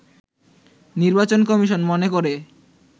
নির্বাচন কমিশন মনে করে